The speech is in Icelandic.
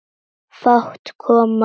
Fát kom á mig.